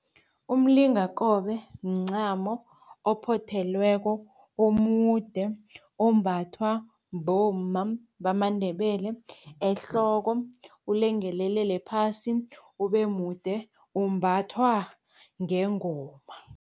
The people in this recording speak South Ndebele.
Umlingakobe mncamo ophothelweko omude ombathwa bomma bamaNdebele ehloko, ulengelelele phasi ube mude umbathwa ngengoma.